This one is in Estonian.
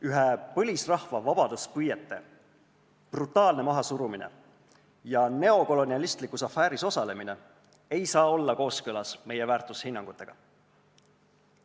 Ühe põlisrahva vabaduspüüete brutaalne mahasurumine ja neokolonialistlikus afääris osalemine ei saa olla kooskõlas meie väärtushinnangutega.